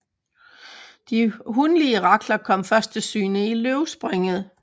De hunlige rakler kommer først til syne i løvspringet